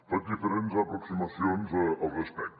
faig diferents aproximacions al respecte